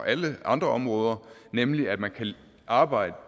alle andre områder nemlig at man kan arbejde